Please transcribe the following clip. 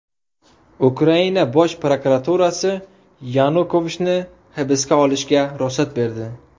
Ukraina Bosh prokuraturasi Yanukovichni hibsga olishga ruxsat berdi.